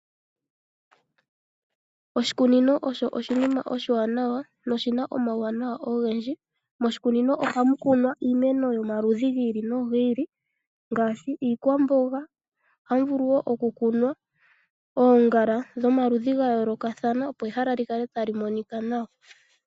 Oshikunino osho oshinima oshiwanawa noshina omawuwanawa ogendji. Moshikunino ohamu kunwa iimeno yomaludhi gi ili nogi ili ngaashi iikwamboga. Ohamu vulu wo okukunwa oongala dhomaludhi ga yoolokathana opo ehala li kale tali monika nawa.